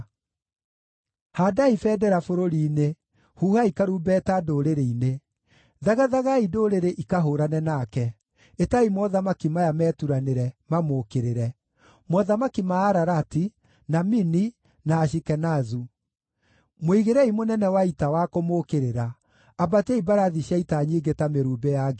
“Haandai bendera bũrũri-inĩ, huhai karumbeta ndũrĩrĩ-inĩ! Thagathagai ndũrĩrĩ ikahũũrane nake; ĩtai mothamaki maya meturanĩre, mamũũkĩrĩre: mothamaki ma Ararati, na Mini, na Ashikenazu. Mũigĩrei mũnene wa ita wa kũmũũkĩrĩra; ambatiai mbarathi cia ita nyingĩ ta mĩrumbĩ ya ngigĩ.